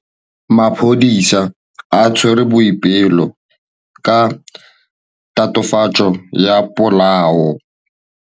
Maphodisa a tshwere Boipelo ka tatofatsô ya polaô.